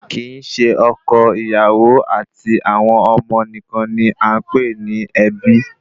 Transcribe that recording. Kì í se oko, ìyàwó àti àwọn ọmọ nìkan ni à ń pè ní ẹbí